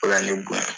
O ka ne bonya